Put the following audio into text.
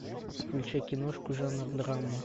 включай киношку жанр драма